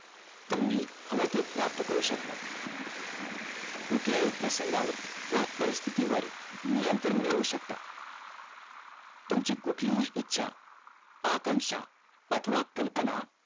तुम्ही हवं ते प्राप्त करू शकता कुठल्या हि प्रसंगावर व परिस्थिती वर नियंत्रण मिळवू शकता तुमची कुठली हि इच्छा आकांशा अथवा कल्पना